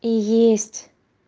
и есть